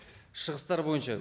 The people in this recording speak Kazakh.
шығыстар бойынша